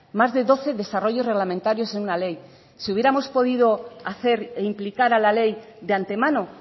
más de doce desarrollos reglamentarios en una ley si hubiéramos podido hacer e implicar a la ley de antemano